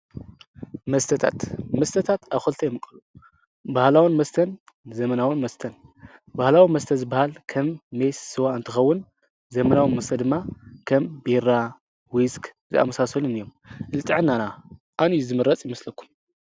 መስተታት፦ መስተታት ኣብ ክልተ ይምቀሉ። ባህላዊ መስተን ዘመናዊ መስተን ።ባህላዊ መስተ ዝባሃል ከም ሜስ፣ ስዋ እትከውን ዘመናዊ መስተ ድማ ቢራ፣ ዊስክ ዝኣምሳሰሉ እዮም። ንጥዕናና አየንኡ ዝምረፅ ይመስለኩም?